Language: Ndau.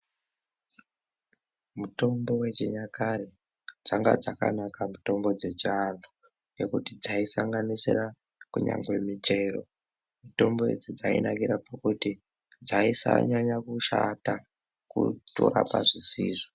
Mutombo wechinyakare changa chakanaka mutombo wechiantu nekuti dzaisanganisira kunyazi muchero mutombo uyu wainakira pakuti dzaisanyanya kushata kusarapa zvisizvo.